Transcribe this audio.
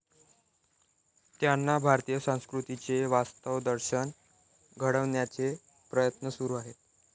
त्यांना भारतीय संस्कृतीचे वास्तव दर्शन घडवण्याचे प्रयत्न सुरू आहेत.